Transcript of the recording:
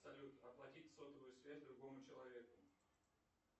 салют оплатить сотовую связь другому человеку